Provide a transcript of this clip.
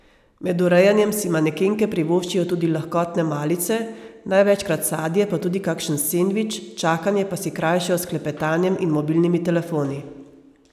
Med urejanjem si manekenke privoščijo tudi lahkotne malice, največkrat sadje pa tudi kakšen sendvič, čakanje pa si krajšajo s klepetanjem in mobilnimi telefoni.